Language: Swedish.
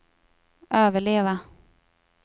överleva